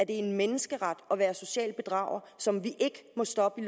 en menneskeret at være en social bedrager som vi ikke må stoppe